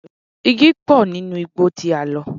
Igi ńlá pọ̀ nínú igbó tí a lọ.